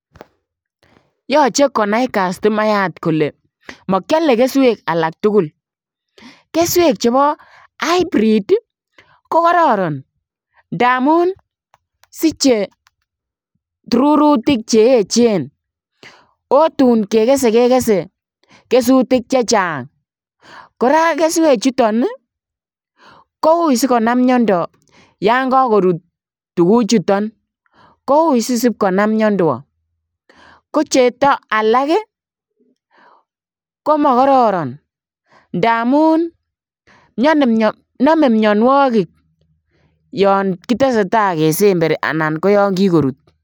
Yoche konai kastomayat kolee mokiole keswek alak tukul, keswek chebo hybrid ko kororon ndamun siche rurutik cheechen oo tuun kekese kekese kesutik chechang, kora keswechuton kouii sikonam miondo yoon kokorut tukuchuton kouii sisib konam miondo, kocheto ko alak komokororon ndamun nome mionwokik yoon kiteseta kesemberi anan ko yoon kikorut.